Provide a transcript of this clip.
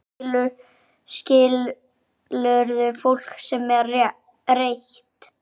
Skilurðu fólkið sem er reitt?